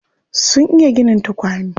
Sun iya ginin tukwane.